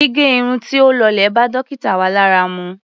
Gígẹ irun tí ó lọlẹ̀ bá dókítà wa lára mu.